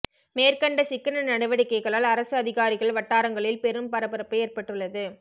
மேற்கண்ட சிக்கன நடவடிக்கைகளால் அரசு அதிகாரிகள் வட்டாரங்களில் பெரும் பரபரப்பு ஏற்பட்டுள்ளது